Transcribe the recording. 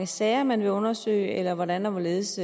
sager man vil undersøge eller hvordan og hvorledes